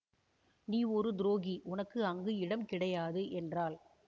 நீ ஒரு துரோகி உனக்கு அங்கு இடம் கிடையாது என்றாள்